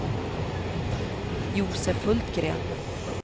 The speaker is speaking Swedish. Josef Hultgren